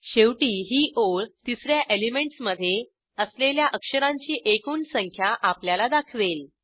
शेवटी ही ओळ तिस या एलिमेंटसमधे असलेल्या अक्षरांची एकूण संख्या आपल्याला दाखवेल